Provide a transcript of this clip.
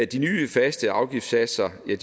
de nye faste afgiftssatser vil